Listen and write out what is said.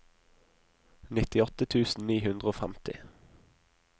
nittiåtte tusen ni hundre og femti